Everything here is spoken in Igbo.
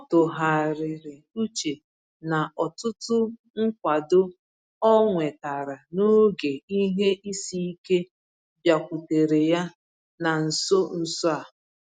Ọ tụgharịrị uche na ọtụtụ nkwado ọ nwetara n’oge ihe isi ike bịakwutere ya na nso nso a.